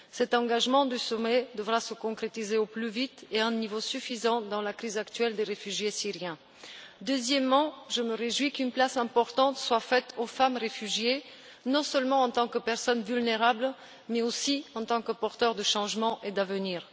Cet engagement du sommet devra se concrétiser au plus vite et à un niveau suffisant dans la crise actuelle des réfugiés syriens. Deuxièmement, je me réjouis qu'une place importante soit faite aux femmes réfugiées non seulement en tant que personnes vulnérables, mais aussi en tant que porteuses de changement et d'avenir.